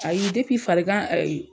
ayi depi farigan